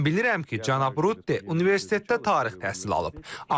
Mən bilirəm ki, cənab Rutte universitetdə tarix təhsili alıb.